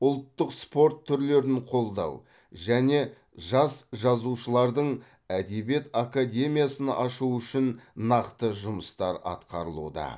ұлттық спорт түрлерін қолдау және жас жазушылардың әдебиет академиясын ашу үшін нақты жұмыстар атқарылуда